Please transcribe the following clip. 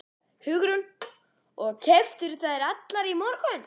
Hugrún: Og keyptirðu þær allar í morgun?